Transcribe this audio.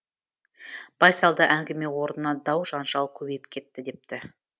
байсалды әңгіме орнына дау жанжал көбейіп кетті депті